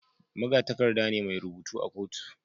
Magatakarda ne mai rubutu a kotu